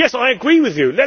Yes, I agree with you